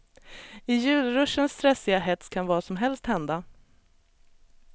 I julruschens stressiga hets kan vad som helst hända.